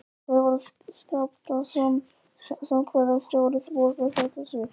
Sævar Skaptason, framkvæmdastjóri, borgar þetta sig?